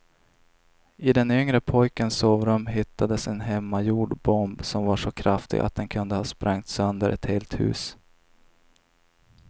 I den yngre pojkens sovrum hittades en hemmagjord bomb som var så kraftig att den kunde ha sprängt sönder ett helt hus.